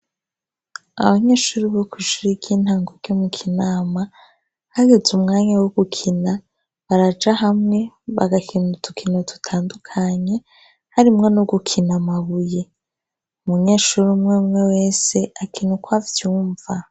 Abanyeshuri bo kw'ishure ry'intango ryo mu Kinama, hageze umwanya wo gukina baraja hamwe bagakina udukino dutandukanye, harimwo no gukina amabuye. Umunyeshuri umwe umwe wese akina uko avyumva.